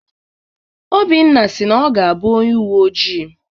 Obinna si na ọ ga-abụ onye uwe ojii.